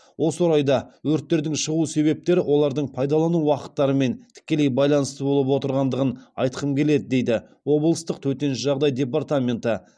осы орайда өрттердің шығу себептері олардың пайдалану уақыттарымен тікелей байланысты болып отырғандығын айтқым келеді дейді облыстық төтенше жағдай дпартаменті